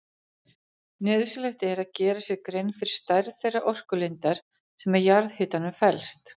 Nauðsynlegt er að gera sér grein fyrir stærð þeirrar orkulindar sem í jarðhitanum felst.